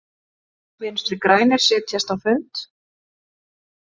Vinstri grænir setjast á fund